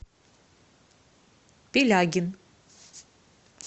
пилягин